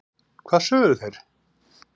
hvað sögðu þeir?